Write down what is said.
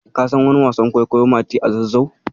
Ka san wani wasan kwaikwayo "Mati a Zazzau"?